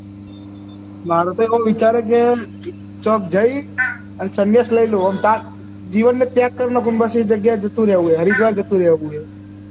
મારું તો કોઈ વિચાર જ નહિ ચુપ ચાપ જયી અને સંય્સાસ લઇ લવું અને પાસ જીવન માં check કરી સન્યાસ ની જગ્યા જતું રેહવું હરિદ્વાર જતું રેહવાનું છે